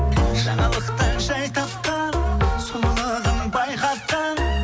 жаңалықтан жай тапқан сұлулығың байқатқан